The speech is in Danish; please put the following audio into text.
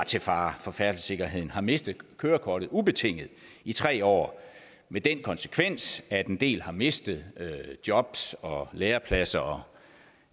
til fare for færdselssikkerheden har mistet kørekortet ubetinget i tre år med den konsekvens at en del har mistet jobs og lærepladser og